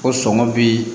Ko sɔngɔ bi